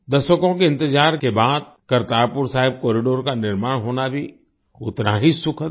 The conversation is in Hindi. दशकों के इंतजार के बाद करतारपुर साहिब कॉरिडोर का निर्माण होना भी उतना ही सुखद है